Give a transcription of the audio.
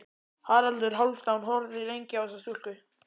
Haraldur Hálfdán horfði lengi á þessa stúlku.